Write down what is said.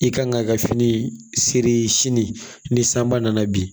I kan k'a ka fini seri sini ni san ba nana bin